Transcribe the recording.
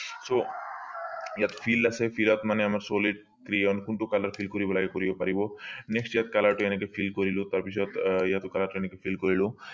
so ইয়াত field আছে field মানে solid rayon কোনটো color লাগে কৰিব পাৰিব next ইয়াত color টো এনেকে feel কৰিলো তাৰ পিছত আহ ইয়াত এনেকে feel কৰিলো